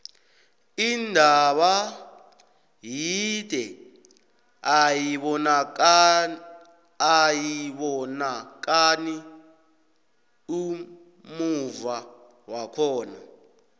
intaba yide ayibonakani ummuva wakhona